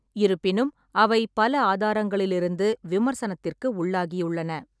இருப்பினும் அவை பல ஆதாரங்களிலிருந்து விமர்சனத்திற்கு உள்ளாகியுள்ளன.